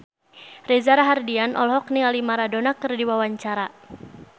Reza Rahardian olohok ningali Maradona keur diwawancara